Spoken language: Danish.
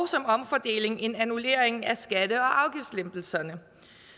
en omfordeling en annullering af skatte og afgiftslempelserne